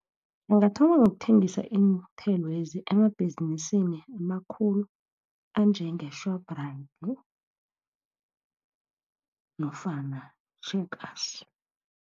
Angathoma ngokuthengisa iinthelwezi, emabhizinisi amakhulu, anjenge-Shoprite, nofana i-Checkers.